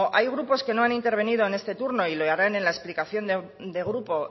hay grupo que no han intervenido en este turno y lo harán en la explicación de grupo